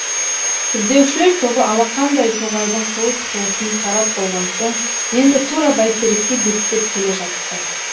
іздеушілер тобы алақандай тоғайдың қуыс қуысын қарап болған соң енді тура бәйтерекке беттеп келе жатты